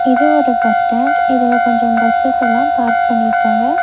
இது ஒரு பஸ்டேண்டு இதுல கொஞ்சம் பஸ்ஸஸ் எல்லா பார்க் பண்ணிருக்காங்க.